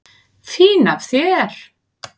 Fín af þér.